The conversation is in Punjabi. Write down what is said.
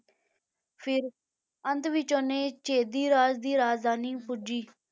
ਫਿਰ ਅੰਤ ਵਿੱਚ ਉਹਨੇ ਚੇਦੀ ਰਾਜ ਦੀ ਰਾਜਧਾਨੀ ਪੁੱਜੀ